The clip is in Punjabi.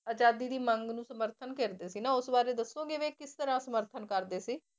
ਆਜ਼ਾਦੀ ਦੀ ਮੰਗ ਨੂੰ ਸਮਰਥਨ ਕਰਦੇ ਸੀ ਨਾ ਉਸ ਬਾਰੇ ਦੱਸੋਗੇ ਵੀ ਇਹ ਕਿਸ ਤਰ੍ਹਾਂ ਸਮਰਥਨ ਕਰਦੇ ਸੀ?